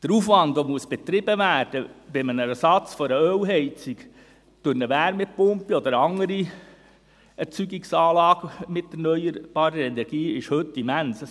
Der Aufwand, der betrieben werden muss beim Ersatz einer Ölheizung durch eine Wärmepumpe oder eine andere Erzeugungsanlage mit erneuerbarer Energie, ist heute immens.